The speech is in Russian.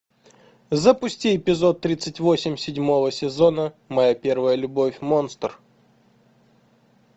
запусти эпизод тридцать восемь седьмого сезона моя первая любовь монстр